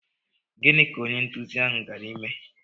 Gịnị ka onye nduzi ahụ gara ime?